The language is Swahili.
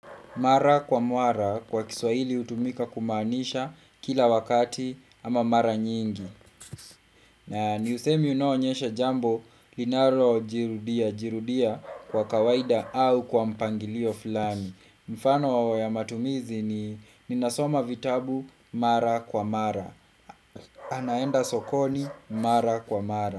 Mara kwa mara kwa kiswahili hutumika kumaanisha kila wakati ama mara nyingi. Na ni usemi unaoonyesha jambo linalo jirudia jirudia kwa kawaida au kwa mpangilio fulani. Mfano wao ya matumizi ni ninasoma vitabu mara kwa mara. Anaenda sokoni mara kwa mara.